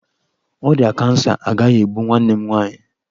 Ọrịa kansa agaghị egbu nwanne m nwaanyị.